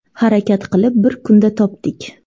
Harakat qilib bir kunda topdik.